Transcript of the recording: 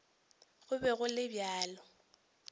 go be go le bjalo